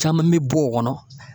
Caman be bɔ o kɔnɔ